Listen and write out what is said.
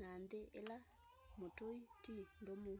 na nthi ila mutui ti ndumu